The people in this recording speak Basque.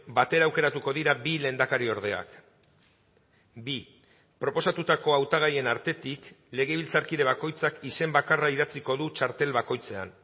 batera aukeratuko dira bi lehendakariordeak bi proposatutako hautagaien artetik legebiltzarkide bakoitzak izen bakarra idatziko du txartel bakoitzean